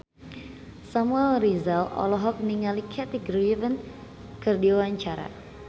Samuel Rizal olohok ningali Kathy Griffin keur diwawancara